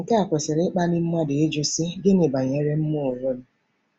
Nke a kwesịrị ịkpali mmadụ ịjụ, sị: ‘Gịnị banyere mụ onwe m?